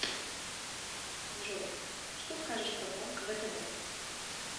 джой что скажешь про банк втб